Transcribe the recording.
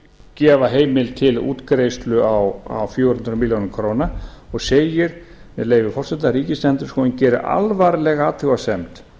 gefa heimild til útgreiðslu á fjögur hundruð milljóna króna og segir með leyfi forseta ríkisendurskoðun gerir alvarlega athugasemd